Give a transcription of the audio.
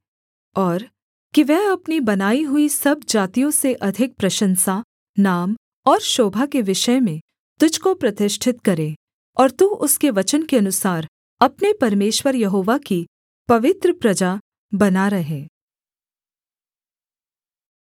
और कि वह अपनी बनाई हुई सब जातियों से अधिक प्रशंसा नाम और शोभा के विषय में तुझको प्रतिष्ठित करे और तू उसके वचन के अनुसार अपने परमेश्वर यहोवा की पवित्र प्रजा बना रहे